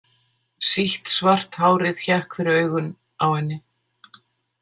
Sítt svart hárið hékk fyrir augun á henni.